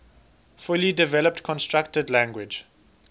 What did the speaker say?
fully developed constructed language